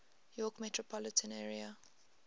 york metropolitan area